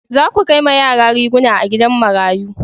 Za ku kai ma yara riguna a gidan marayu